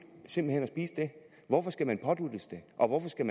hvorfor skal man påduttes det og hvorfor skal